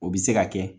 O bɛ se ka kɛ